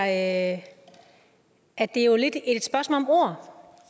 at at det jo lidt er et spørgsmål om ord